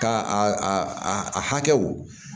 Ka a a a hakɛw